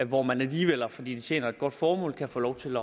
hvor man alligevel fordi det tjener et godt formål kan få lov til